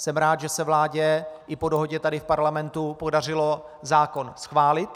Jsem rád, že se vládě i po dohodě tady v Parlamentu podařilo zákon schválit.